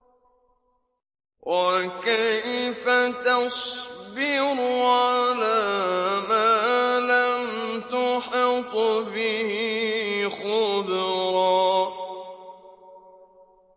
وَكَيْفَ تَصْبِرُ عَلَىٰ مَا لَمْ تُحِطْ بِهِ خُبْرًا